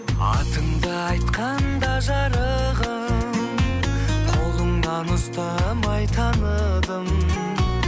атыңды айтқанда жарығым қолыңнан ұстамай таныдым